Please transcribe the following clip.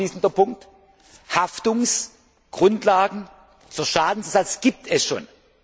ist. Und ein abschließender Punkt Haftungsgrundlagen für Schadenersatz gibt es